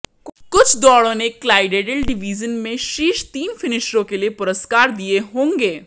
कुछ दौड़ों ने क्लाइडेडेल डिवीजन में शीर्ष तीन फिनिशरों के लिए पुरस्कार दिए होंगे